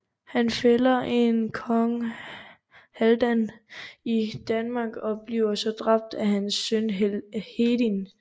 Han fælder en Kong Halvdan i Danmark og bliver så dræbt af hans søn Hedin